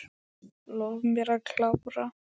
Lof mér að klára.